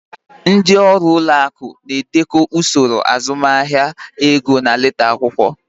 Ndị ọrụ ụlọ akụ na-edekọ usoro azụmahịa ego na leta akwụkwọ.